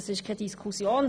Das ist keine Frage.